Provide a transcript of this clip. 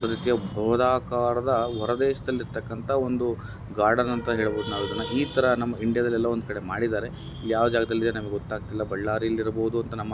ಒಂದು ಗೃಹದಾಕಾರದ ಅಂತರಾಷ್ಟ್ರೀಯದಲ್ಲಿರುವ ಗಾರ್ಡನ್ ಅಂತ ಹೇಳಿ ನಾವು ಹೇಳಬಹುದ ಈ ತರಹ ನಮ್ಮ ಇಂಡಿಯಾದಲ್ಲೂ ಮಾಡಿದ್ದಾರೆ ಯಾವ ಜಾಗದಲ್ಲಿದೆ ಅಂತ ಹೇಳಿ ಗೊತ್ತಾಗ್ತಿಲ್ಲ ಬಳ್ಳಾರಿಯಲಿ ಇರಬಹುದು ಅಂತನಮ್ಮ್ --